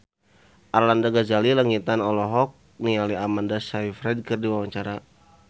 Arlanda Ghazali Langitan olohok ningali Amanda Sayfried keur diwawancara